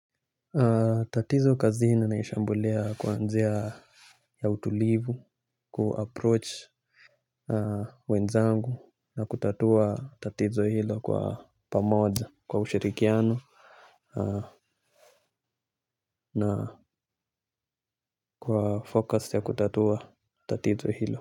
Tatizo kazini naishambulia kwa njia ya utulivu, ku-approach wenzangu na kutatua tatizo hilo kwa pamoja kwa ushirikiano kwa focus ya kutatua tatizo hilo.